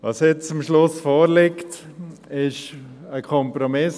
Was nun am Schluss vorliegt, ist ein Kompromiss.